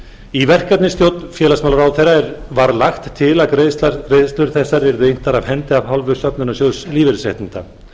í verkefnisstjórn félagsmálaráðherra var lagt til að greiðslur þessar yrðu inntar af hendi af hálfu söfnunarsjóðs lífeyrisréttinda